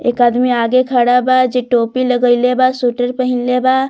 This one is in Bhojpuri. एक आदमी आगे खाड़ा बा जे टोपी लगइले बा स्वेटर पहिनले बा।